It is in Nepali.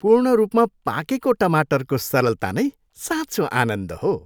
पूर्ण रूपमा पाकेको टमाटरको सरलता नै साँचो आनन्द हो।